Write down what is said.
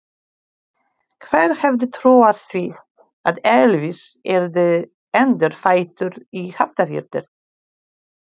Hver hefði trúað því að Elvis yrði endurfæddur í Hafnarfirði?